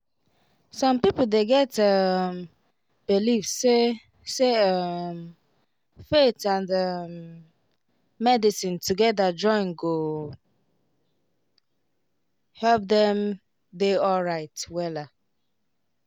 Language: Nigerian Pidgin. some people dey get um believe say say um faith and um medicine together join go help dem dey alright wella